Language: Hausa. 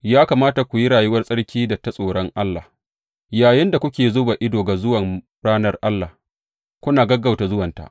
Ya kamata ku yi rayuwar tsarki da ta tsoron Allah, yayinda kuke zuba ido ga zuwan ranar Allah kuna gaggauta zuwanta.